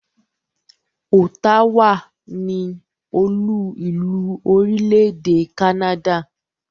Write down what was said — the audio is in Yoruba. Ottawa ni olú-ìlú orílẹ̀-èdè Canada.